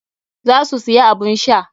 Za su siya abun sha.